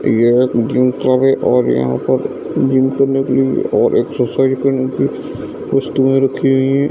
ये एक जिम और यहां पर जिम करने के लिए और एक्सरसाइज करने की वस्तुए रखी हुई है।